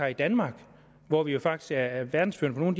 i danmark og hvor vi jo faktisk er er verdensførende på nogle